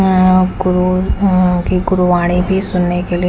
अ कु यहा की गुरुवाणी भी सुनने के लिए--